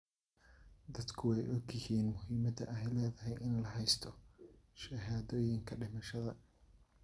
Dadku way ogyihiin muhiimadda ay leedahay in la haysto shahaadooyinka dhimashada.